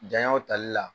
Janyaw tali la